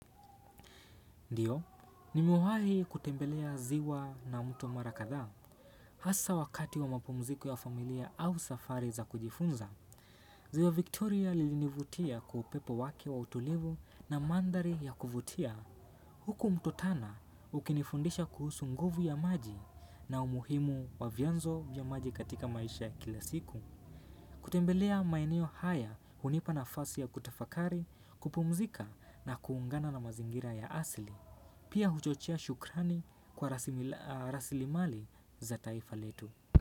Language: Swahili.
Ndiyo, nimewahi kutembelea ziwa na mto mara kadhaa. Hasa wakati wa mapumziko ya familia au safari za kujifunza, ziwa Victoria lilinivutia kwa upepo wake wa utulivu na mandhari ya kuvutia. Huku mto tana ukinifundisha kuhusu nguvu ya maji na umuhimu wa vianzo vya maji katika maisha ya kila siku. Kutembelea maeneo haya hunipa nafasi ya kutafakari, kupumzika na kuungana na mazingira ya asili. Pia huchochea shukrani kwa rasilimali za taifa letu.